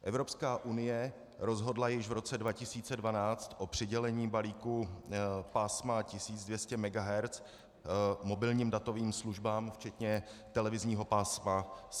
Evropská unie rozhodla již v roce 2012 o přidělení balíku pásma 1200 MHz mobilním datovým službám včetně televizního pásma 700 MHz.